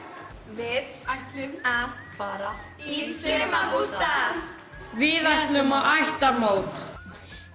við ætlum að fara í sumarbústað við ætlum á ættarmót